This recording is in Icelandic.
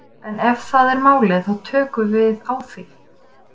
En ef það er málið þá tökum við á því.